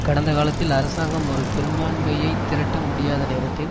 கடந்த காலத்தில் அரசாங்கம் ஒரு பெரும்பான்மையை திரட்ட முடியாத நேரத்தில்